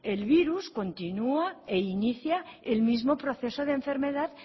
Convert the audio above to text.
el virus continua e inicia el mismo proceso de enfermedad